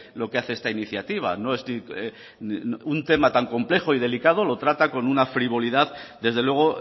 lo que hace esta iniciativa un tema tan complejo y delicado lo trata con una frivolidad desde luego